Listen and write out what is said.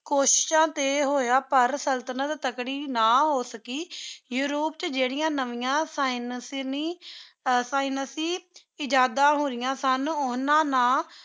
ਕੋਸ਼ਿਸ਼ਾਂ ਤੇ ਹੋਯਾ ਪਰ ਸੁਲ੍ਤ੍ਨਤ ਤਕੜੀ ਨਾ ਹੋ ਸਕੀ, ਯੂਰੋਪ ਵਿਚ ਜੇਰਿਯਾਂ ਨਵਿਯਾਂ ਇਜਾਦਾ ਹੋਯਾ ਸਨ ਓਹਨਾ ਨਾਲ